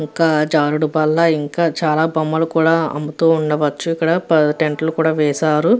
ఇంకా జారుడు బల్ల ఇంకా చాలా బొమ్మలు కూడా అమ్ముతూ ఉండవచ్చు ఇక్కడ. టెంట్ లు కూడా వేసారు.